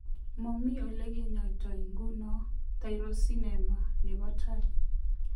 Momii ole kenyoito nguno Tyrosinemia nebo tai.